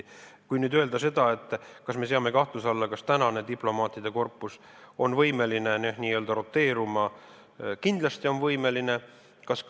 Kui küsida, kas me seame kahtluse alla selle, et tänane diplomaatide korpus on võimeline n-ö roteeruma, siis kindlasti on võimeline.